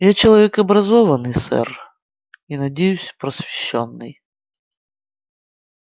я человек образованный сэр и надеюсь просвещённый